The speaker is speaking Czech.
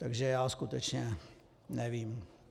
Takže já skutečně nevím.